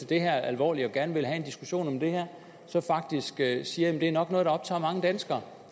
det her alvorligt og gerne vil have en diskussion om det her så faktisk sige at det nok er noget der optager mange danskere